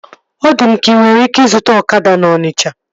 Ọ dị m ka inwere ike ịzụta ọkada na Ọnisha